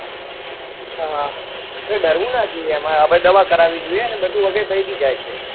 હા ડરવું ના જોઈએ એમાં હવે દવા કરાવી જોઈએ અને બધું વગી થઇ બી જાય છે